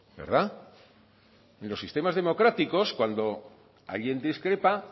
verdad y en los sistemas democráticos cuando alguien discrepa